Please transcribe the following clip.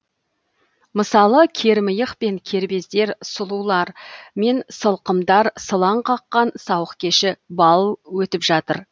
мысалы кермиық пен кербездер сұлулар мен сылқымдар сылаң қаққан сауық кеші балл өтіп жатыр